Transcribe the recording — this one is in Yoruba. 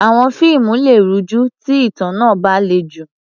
Àwọn fíìmù lè rújú tí ìtàn náà bá le jù.